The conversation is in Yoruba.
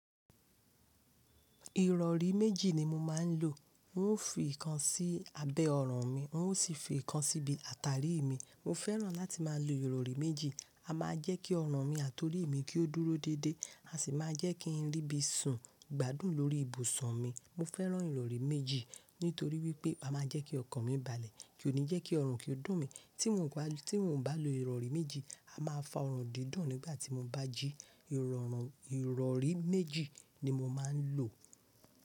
Ìrọ̀rí méjì ni mo máa ń lò. N ó fi ìkan sí abẹ́ ọrùn mi, n ó sì fi ìkan sí ibi àtàrí mi. Mo fẹ́ràn láti máa lo ìrọ̀rí méjì, a máa jẹ́ kí ọrùn mi àti orí mi kí ó dúró dédé, a sì máa jẹ́ kí n rí bí sùn gbadùn lórí ìbùsùn mi. Mo fẹ́ràn ìrọ̀rí méjì nítorí wípé a máa jẹ́ kí ọkàn mi balẹ̀, kì o ní jẹ́ kí ọrùn kí ó dùn mí. Tí mò ń bá, tí mò ń bá lo ìrọ̀rí méjì, a máa fa ọrùn dídùn nígbà tí mo bá jí. Ìrọ̀rùn, ìrọ̀rí méjì ni mo máa ń lò.